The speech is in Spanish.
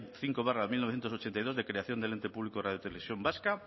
cinco barra mil novecientos ochenta y dos de creación del ente público radio televisión vasca